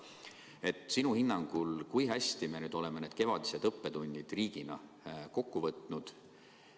Kui hästi me sinu hinnangul oleme need kevadised õppetunnid riigina kokku võtnud?